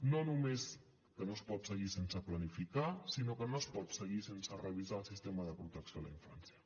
no només que no es pot seguir sense planificar sinó que no es pot seguir sense revisar el sistema de protecció a la infància